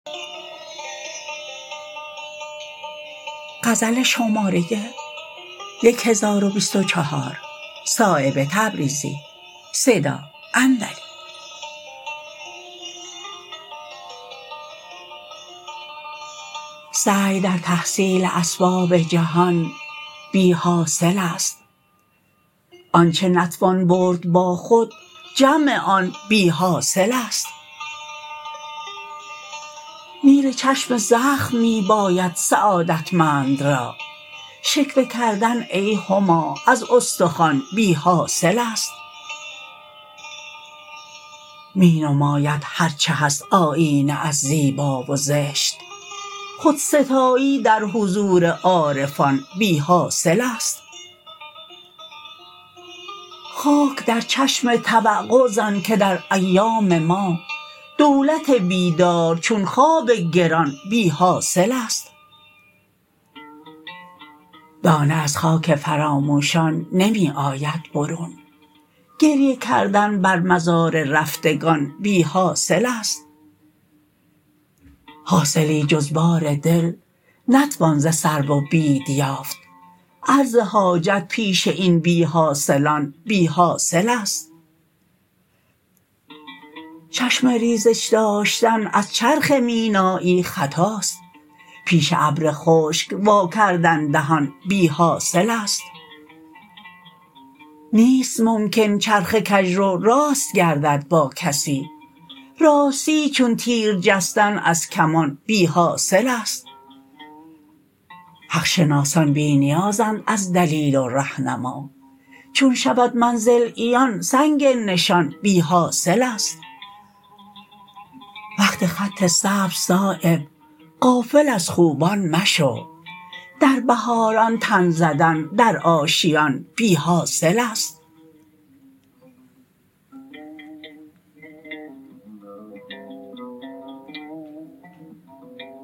سعی در تحصیل اسباب جهان بی حاصل است آنچه نتوان برد با خود جمع آن بی حاصل است نیل چشم زخم می باید سعادتمند را شکوه کردن ای هما از استخوان بی حاصل است می نماید هر چه هست آیینه از زیبا و زشت خودستایی در حضور عارفان بی حاصل است خاک در چشم توقع زن که در ایام ما دولت بیدار چون خواب گران بی حاصل است دانه از خاک فراموشان نمی آید برون گریه کردن بر مزار رفتگان بی حاصل است حاصلی جز بار دل نتوان ز سرو و بید یافت عرض حاجت پیش این بی حاصلان بی حاصل است چشم ریزش داشتن از چرخ مینایی خطاست پیش ابر خشک وا کردن دهان بی حاصل است نیست ممکن چرخ کجرو راست گردد با کسی راستی چون تیر جستن از کمان بی حاصل است حق شناسان بی نیازند از دلیل و رهنما چون شود منزل عیان سنگ نشان بی حاصل است وقت خط سبز صایب غافل از خوبان مشو در بهاران تن زدن در آشیان بی حاصل است